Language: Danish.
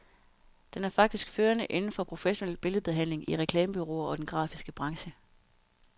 Den er faktisk førende inden for professionel billedbehandling i reklamebureauer og den grafiske branche.